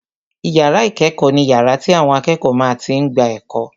Ìyàrá ìkẹ́kọ̀ọ́ ni yàrá tí àwọn akẹ́kọ̀ọ́ máa tí n gba ẹ̀kọ́